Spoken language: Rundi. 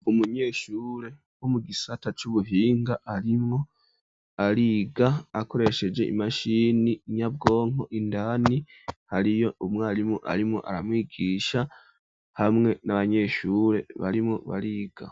Umunyeshure wo mu gisata c'ubuhinga, arimwo ariga akoresheje imashini nyabwonko, indani hariyo umwarimu arimwo aramwigisha, hamwe n'abanyeshure barimwo bariga.